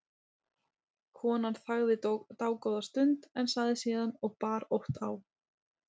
Konan þagði dágóða stund en sagði síðan og bar ótt á